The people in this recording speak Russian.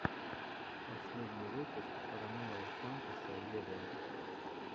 последний выпуск ромео сантоса вево